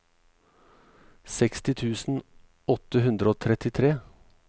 seksti tusen åtte hundre og trettitre